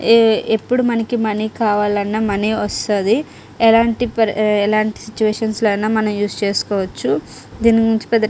ఎప్పుడు మనకి మనీ కావాలన్నా మనీ వస్తది. ఎలాంటి పరి ఎలాంటి సిట్యుయేషన్స్ లో అయినా మనం ఉస్ చేసుకోవచ్చు. దీని గురించి పెద్ద --